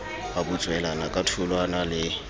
a butswelana ka tholwana le